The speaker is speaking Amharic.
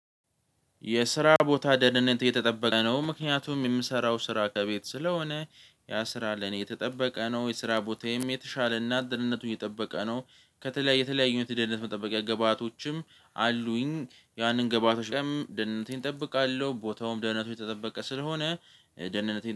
የስራ ቦታ ደህንነት እየተጠበቀ ነው። ምክንያቱም የምሰራው ስራ ከቤት ስለሆነ ያ ስራ ለኔ የተጠበቀ ነው። የስራ ቦታዬም የተሻለ እና ደህንነቱን የጠበቀ ነው። ከተለያዩ የተለያዩ አይነት መጠበቅ ግባቶችም አሉኝ። ያንን ግባቶች ደህንነቴን እጠብቃለሁ ቦታውም ደህንነቱ የተጠበቀ ስለሆነ ደህንነቴን።